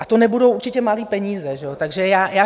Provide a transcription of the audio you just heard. A to nebudou určitě malé peníze, že jo?